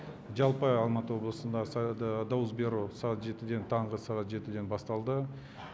жалпы алматы облысында дауыс беру сағат жетіден таңғы сағат жетіден басталды